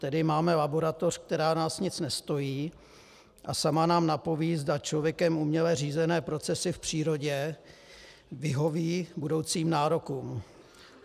Tedy máme laboratoř, která nás nic nestojí a sama nám napoví, zda člověkem uměle řízené procesy v přírodě vyhoví budoucím nárokům.